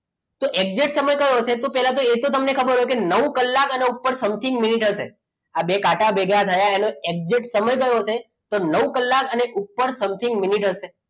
તો exact સમય કયો હશે તો પહેલા એ તો તમને ખબર હોય કે નવ કલાક અને ઉપર something મિનિટ હશે આ બે કાંટા ભેગા થયા exact સમય કયો હશે તો નવ કલાક અને ઉપર something મીનીટ હશે